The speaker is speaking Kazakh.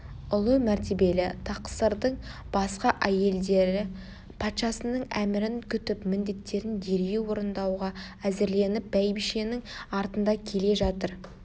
ұлы мәртебелі тақсырдың басқа әйелдері патшасының әмірін күтіп міндеттерін дереу орындауға әзірленіп бәйбішенің артында келе жатыр